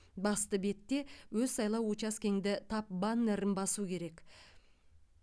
басты бетте өз сайлау учаскеңді тап баннерін басу керек